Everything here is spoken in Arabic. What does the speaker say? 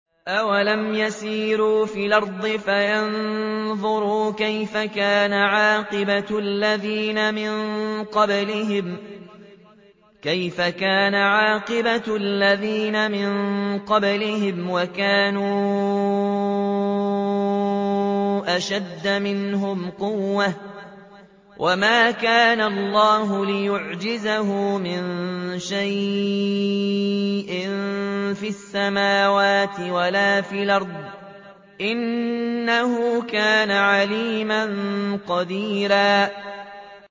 أَوَلَمْ يَسِيرُوا فِي الْأَرْضِ فَيَنظُرُوا كَيْفَ كَانَ عَاقِبَةُ الَّذِينَ مِن قَبْلِهِمْ وَكَانُوا أَشَدَّ مِنْهُمْ قُوَّةً ۚ وَمَا كَانَ اللَّهُ لِيُعْجِزَهُ مِن شَيْءٍ فِي السَّمَاوَاتِ وَلَا فِي الْأَرْضِ ۚ إِنَّهُ كَانَ عَلِيمًا قَدِيرًا